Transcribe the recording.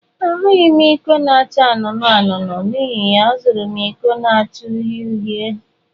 Ahụghị m iko na-acha anụnụ anụnụ, n'ihi ya, azụrụ m iko na-acha uhie uhie.